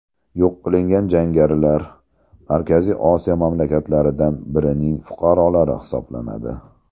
Yo‘q qilingan jangarilar Markaziy Osiyo mamlakatlaridan birining fuqarolari hisoblanadi.